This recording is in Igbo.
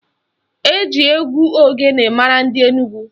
Eji egwu ogene mara ndị Enugwu.